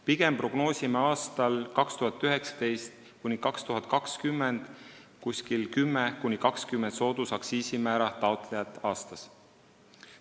Pigem prognoosime aastail 2019–2020 10–20 soodusaktsiisimäära taotlejat aastas.